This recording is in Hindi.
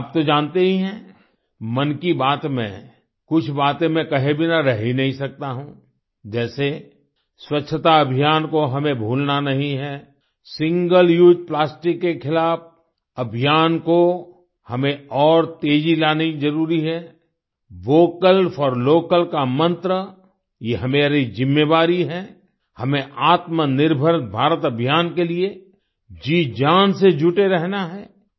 और आप तो जानते ही हैं मन की बात में कुछ बातें मैं कहे बिना रह ही नहीं सकता हूँ जैसे स्वच्छता अभियान को हमें भूलना नहीं है सिंगल उसे प्लास्टिक के खिलाफ अभियान को हमें और तेज़ी लानी जरुरी है वोकल फोर लोकल का मंत्र ये हमारी जिम्मेवारी है हमें आत्मनिर्भर भारत अभियान के लिए जीजान से जुटे रहना है